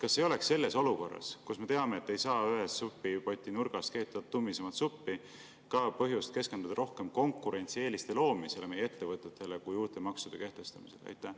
Kas ei oleks selles olukorras, kus me teame, et supipoti ühes nurgas ei saa keeta tummisemat suppi, põhjust keskenduda rohkem konkurentsieeliste loomisele meie ettevõtetele kui uute maksude kehtestamisele?